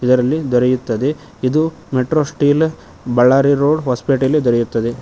ಇದರಲ್ಲಿ ದೊರೆಯುತ್ತದೆ ಇದು ಮೆಟ್ರೋ ಸ್ಟೀಲ್ ಬಳ್ಳಾರಿ ರೋಡ್ ಹೊಸಪೇಟೆಯಲ್ಲಿ ದೊರೆಯುತ್ತದೆ.